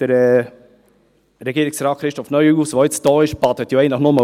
Der nun hier anwesende Regierungsrat Christoph Neuhaus badet eigentlich lediglich aus.